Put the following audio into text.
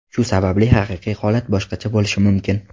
Shu sababli haqiqiy holat boshqacha bo‘lishi mumkin.